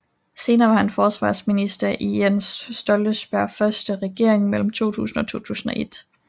Senere var han forsvarsminister i Jens Stoltenbergs første regering mellem 2000 og 2001